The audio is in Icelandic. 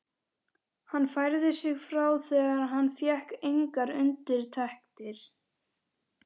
Hann færði sig frá þegar hann fékk engar undirtektir.